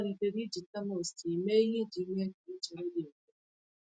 Ọ malitere iji termos tii mee ihe iji mee ka ichere dị mfe.